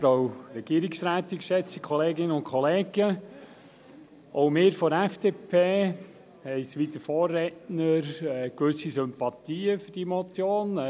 Auch wir von der FDP haben, wie der Vorredner, gewisse Sympathien für diese Motion.